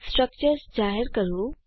structures જાહેર કરવું